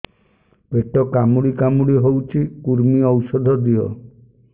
ପେଟ କାମୁଡି କାମୁଡି ହଉଚି କୂର୍ମୀ ଔଷଧ ଦିଅ